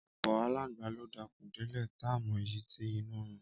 Ọpọ àlàńgbà lò dà kún dẹlẹ tà mọ ìyí ti ìnú rún